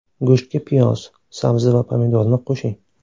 Go‘shtga piyoz, sabzi va pomidorni qo‘shing.